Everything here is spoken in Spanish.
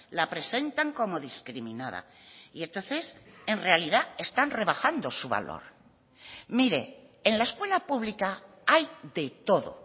la presentan como discriminada y entonces en realidad están rebajando su valor mire en la escuela pública hay de todo